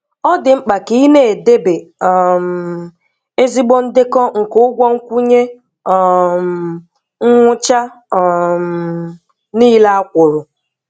Ọ di mkpa ka ị na-edebe um ezigbo ndekọ nke ụgwọ nkwụnye um nwụcha um nile a kwuru.